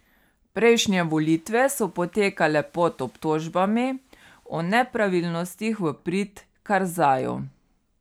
Prejšnje volitve so potekale pod obtožbami o nepravilnostih v prid Karzaju.